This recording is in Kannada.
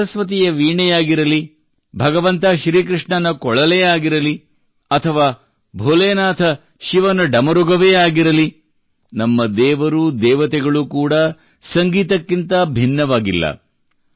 ತಾಯಿ ಸರಸ್ವತಿಯ ವೀಣೆಯಾಗಿರಲಿ ಭಗವಂತ ಶ್ರೀಕೃಷ್ಣನ ಕೊಳಲೇ ಆಗಿರಲಿ ಅಥವಾ ಭೋಲೇನಾಥ ಶಿವನ ಢಮರುಗವೇ ಆಗಲಿ ನಮ್ಮ ದೇವರು ದೇವತೆಗಳು ಕೂಡಾ ಸಂಗೀತಕ್ಕಿಂತ ಭಿನ್ನವಾಗಿಲ್ಲ